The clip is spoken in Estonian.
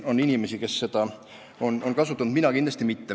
On inimesi, kes seda on kasutanud, mina kindlasti mitte.